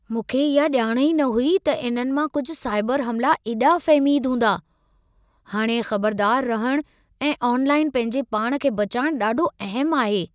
मूंखे इहा ॼाण ई न हुई त इन्हनि मां कुझ साइबर हमिला एॾा फ़हमीद हूंदा। हाणे ख़बरदार रहणु ऐं ऑनलाइन पंहिंजे पाण खे बचाइणु ॾाढो अहमु आहे।